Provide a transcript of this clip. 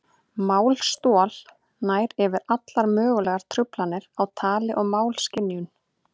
Málstol nær yfir allar mögulegar truflanir á tali og málskynjun.